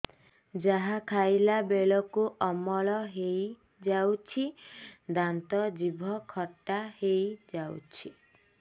ଯାହା ଖାଇଲା ବେଳକୁ ଅମ୍ଳ ହେଇଯାଉଛି ଦାନ୍ତ ଜିଭ ଖଟା ହେଇଯାଉଛି